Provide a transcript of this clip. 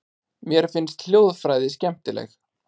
Mér finnst hljóðfræði skemmtileg.